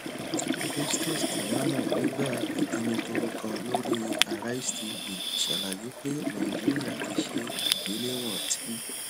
festus keyamo nigba ijomitoro kan lori arise tv ṣalaye pe naijiria ti ṣe igbelewọn ti